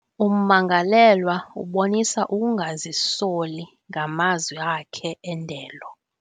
Ummangalelwa ubonise ukungazisoli ngamazw akhe endelo.